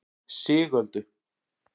Sigöldu